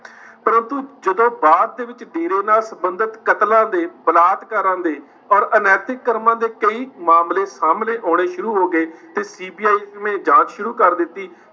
ਪਰੰਤੂੂ ਜਦੋਂ ਬਾਅਦ ਦੇ ਵਿੱਚ ਡੇਰਾ ਨਾਲ ਸੰਬੰਧਿਤ ਕਤਲਾਂ ਤੇ ਬਲਾਤਕਾਰਾਂ ਦੇ ਔਰ ਅਨੈਤਿਕ ਕਰਮਾਂ ਦੇ ਕਈ ਮਾਮਲੇ ਸਾਹਮਣੇ ਆਉਣੇ ਸ਼ੁਰੂ ਹੋ ਗਏ ਤੇ CBI ਨੇ ਜਾਂਚ ਸ਼ੁਰੂ ਕਰ ਦਿੱਤੀ।